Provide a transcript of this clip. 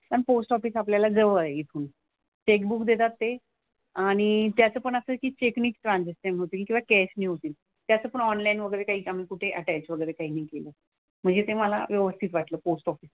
पण post office आपल्याला जवळ आहे इथून. चेकबुक देतात ते आणि त्याचं पण असं आहे की चेकनीच ट्रांझॅक्शन होतील किंवा कॅशनी होतील. त्याचं पण ऑनलाईन वगैरे काही आम्ही कुठे अटॅच वगैरे काही नाही केलं. म्हणजे ते मला व्यवस्थित वाटलं पोस्ट ऑफिस.